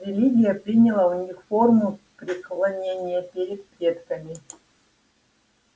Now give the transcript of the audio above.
религия приняла у них форму преклонения перед предками